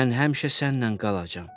Mən həmişə sənlə qalacam.